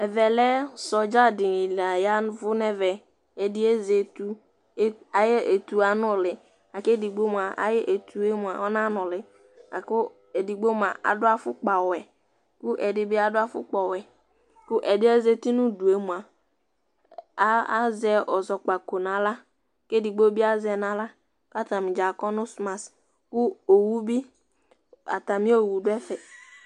Sɔɖza dɩ la ƴaʋʊ ŋɛʋɛ Ɛdɩ azɛ etʊ, aƴʊ etʊ aŋʊlɩ kedigbo mʊa ayʊ etʊ ŋaŋʊlɩ, ƙʊ edigbo mʊa adʊ afʊkpa ɔwɛ, kʊ edɩ bʊ afukpa ɔwɛ, ƙʊ ɛdɩɛ zatɩ ŋʊʊdʊe mʊa azɛ ɛzɔkpako nawla kedigbo bi azɛ nawla kataŋɩdza akɔ nu smas ƙʊ atamɩ owʊ dɛfɛ